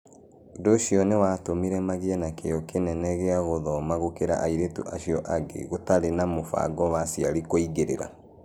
Ũndũ ũcio nĩ watũmire magĩe na kĩyo kĩnene gĩa gũthoma gũkĩra airĩtu acio angĩ gũtarĩ na mũbango wa aciari wa kũingĩrĩra.